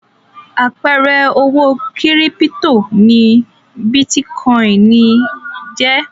Àpẹẹrẹ owó kírípító ni bítíkọ́ìn jẹ́.